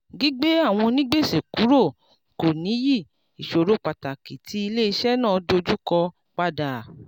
gbígbé àwọn onígbèsè kúrò kò ní yí ìṣòro pàtàkì tí iléeṣẹ́ náà dojú kọ padà.